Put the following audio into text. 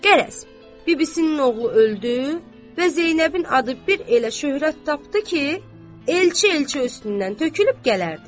Qərəz bibisinin oğlu öldü və Zeynəbin adı bir elə şöhrət tapdı ki, Elçi elçi üstündən tökülüb gələrdi.